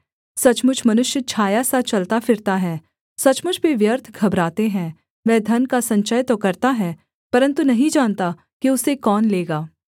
सचमुच मनुष्य छाया सा चलता फिरता है सचमुच वे व्यर्थ घबराते हैं वह धन का संचय तो करता है परन्तु नहीं जानता कि उसे कौन लेगा